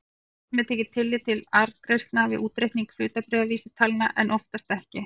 Stundum er tekið tillit til arðgreiðslna við útreikning hlutabréfavísitalna en oftast ekki.